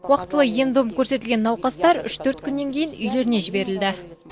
уақтылы ем дом көрсетілген науқастар үш төрт күннен кейін үйлеріне жіберілді